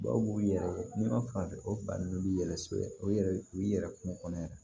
Dɔw b'u yɛrɛ ma fan o fan n'u b'i yɛrɛ sɔrɔ o yɛrɛ u b'i yɛrɛ kungo kɔnɔ yɛrɛ